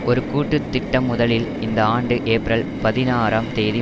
ஒரு கூட்டு திட்டம் முதலில் இந்த ஆண்டு ஏப்ரல் பதினாறும் தேதி